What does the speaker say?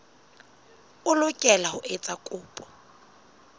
o lokela ho etsa kopo